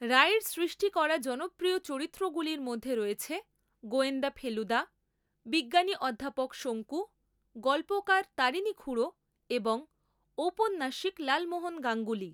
রায়ের সৃষ্টি করা জনপ্রিয় চরিত্রগুলির মধ্যে রয়েছে গোয়েন্দা ফেলুদা, বিজ্ঞানী অধ্যাপক শঙ্কু, গল্পকার তারিণী খুড়ো এবং ঔপন্যাসিক লালমোহন গাঙ্গুলী।